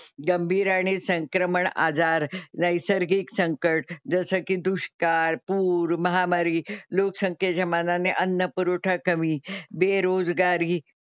गंभीर आणि संक्रमण आजार, नैसर्गिक संकट जसं की दुष्काळ, पूर, महामारी, लोकसंख्येच्या मानाने अन्न पुरवठा कमी, बेरोजगारी,